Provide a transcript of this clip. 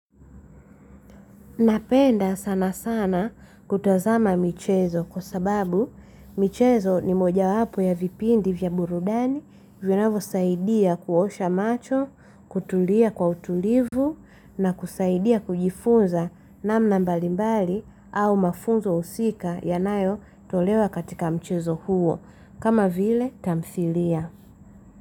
Napenda sana sana kutazama michezo kwa sababu michezo ni moja wapo ya vipindi vya burudani vinayvo saidia kuosha macho, kutulia kwa utulivu na kusaidia kujifunza namna mbalimbali au mafunzo husika yanayotolewa katika michezo huo. Kama vile tamthilia.